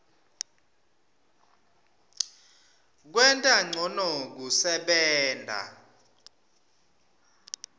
kwenta ncono kusebenta